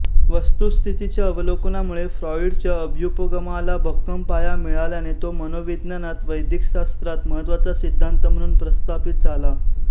वस्तुस्थितीच्या अवलोकनामुळे फ्राॅईडच्या अभ्युपगमाला भक्कम पाया मिळाल्याने तो मनोविज्ञानात वैद्यकशास्त्रात महत्त्वाचा सिद्धान्त म्हणून प्रस्थापित झाला